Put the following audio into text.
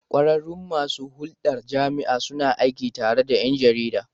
Kwararrun masu hulɗar da jama'a suna aiki tare da 'yan jarida.